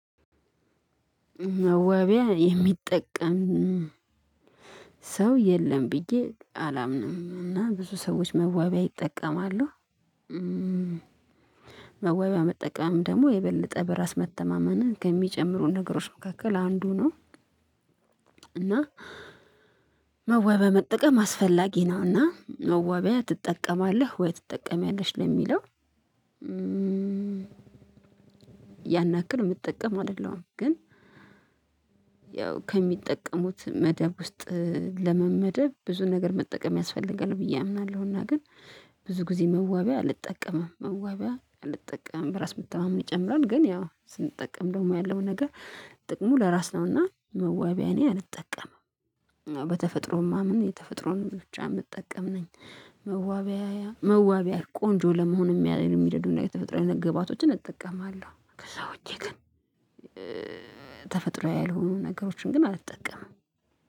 መዋቢያ የሚጠቀም ሰው የለም ብዬ አላምንም እና ብዙ ሰዎች መዋቢያ ይጠቀማሉ። መዋቢያ መጠቀም ደግሞ የበለጠ በራስ መተማመንን ከሚጨምሩ ነገሮች መካከል አንዱ ነው። እና መዋቢያ በመጠቀም አስፈላጊ ነው እና መዋቢያ ትጠቀማለህ ወይ ትጠቀሚያለሽ ለሚለው? ያን ያክል የምጠቀም አይደለሁም። ግን ያው ከሚጠቀሙት መደብ ውስጥ ለመመደብ ብዙ ነገር መጠቀም ያስፈልጋል ብዬ አምናለሁ። እና ግን ብዙ ጊዜ መዋቢያ አልጠቀምም መዋቢያ አልጠቀምም። በራስ መተማመን ይጨምራል ግን ያው ስንጠቀም ደግሞ ያለው ነገር ጥቅሙ ለራስ ነው። እና መዋቢያ እኔ አልጠቀምም በተፈጥሮም የማመን የተፈጥሮን ብቻ የምጠቀም ነኝ። መዋቢያ ቆንጆ ለመሆን የሚያ የሚረዱን የተፈጥሮ አይነት ግብአቶችን እጠቀማለሁ ከዛ ውጪ ግን ተፈጥሯዊ ያልሆኑ ነገሮችን ግን አልጠቀምም።